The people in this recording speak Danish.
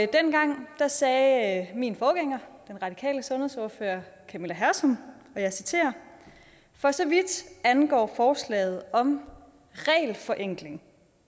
dengang sagde min forgænger som radikal sundhedsordfører og camilla hersom og jeg citerer for så vidt angår forslaget om regelforenkling